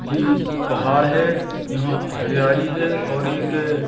ये पहाड़ है यहां हरियाली है और एक--